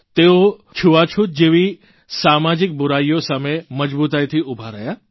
તેઓ છૂતાછૂત જેવી સામાજીક બૂરાઇઓ સામે મજબૂતાઇથી ઉભા રહ્યા હતા